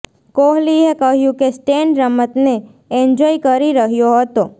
કોહલીએ કહ્યું કે સ્ટેન રમતને એન્જોય કરી રહ્યો હતો